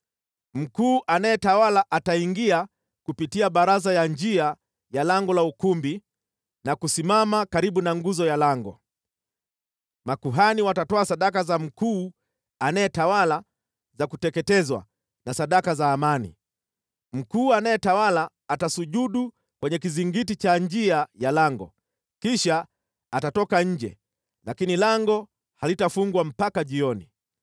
Mkuu anayetawala ataingia kupitia baraza ya njia ya lango la ukumbi na kusimama karibu na nguzo ya lango. Makuhani watatoa sadaka za mkuu anayetawala za kuteketezwa na sadaka za amani. Mkuu anayetawala atasujudu kwenye kizingiti cha njia ya lango, kisha atatoka nje, lakini lango halitafungwa mpaka jioni.